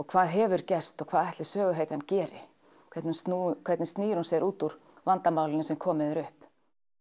hvað hefur gerst og hvað ætli söguhetjan geri hvernig snýr hvernig snýr hún sér út úr vandamálunum sem komið hefur upp